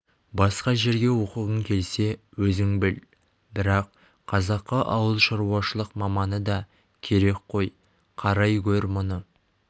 басқа жерге оқығың келсе өзің біл бірақ қазаққа ауылшаруашылық маманы да керек қой қарай гөр мұны